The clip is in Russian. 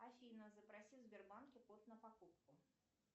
афина запроси в сбербанке код на покупку